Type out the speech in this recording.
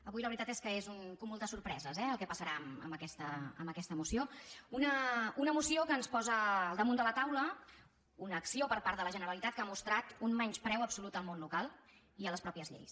avui la veritat és que és un cúmul de sorpreses eh el que passarà amb aquesta moció una moció que ens posa al damunt de la taula una acció per part de la generalitat que ha mostrat un menyspreu absolut al món local i a les mateixes lleis